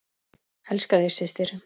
Elska þig, systir.